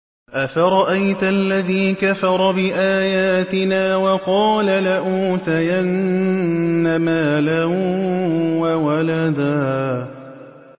أَفَرَأَيْتَ الَّذِي كَفَرَ بِآيَاتِنَا وَقَالَ لَأُوتَيَنَّ مَالًا وَوَلَدًا